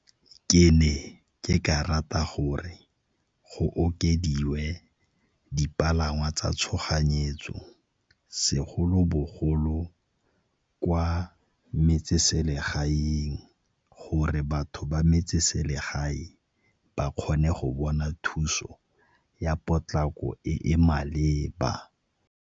Ke ne ke ka rata gore go okediwe dipalangwa tsa tshoganyetso segolobogolo kwa metseselegaeng gore batho ba metseselegae ba kgone go bona thuso ya potlako e e maleba.